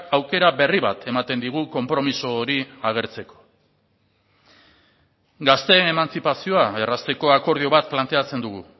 aukera berri bat ematen digu konpromiso hori agertzeko gazteen emantzipazioa errazteko akordio bat planteatzen dugu